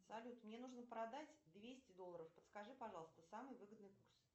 салют мне нужно продать двести долларов подскажи пожалуйста самый выгодный курс